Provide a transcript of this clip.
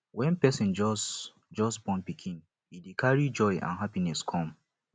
when person just just born pikin e dey carry joy and happiness come